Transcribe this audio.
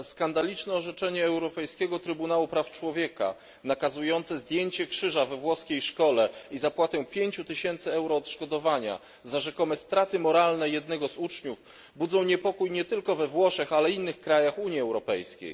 Skandaliczne orzeczenie Europejskiego Trybunału Praw Człowieka nakazujące zdjęcie krzyża we włoskiej szkole i zapłatę 5 tysięcy euro odszkodowania za rzekome straty moralne jednego z uczniów budzą niepokój nie tylko we Włoszech, ale także w innych krajach Unii Europejskiej.